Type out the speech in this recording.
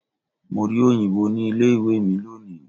Mo rí òyìnbó ní ilé ìwé mi lónìí.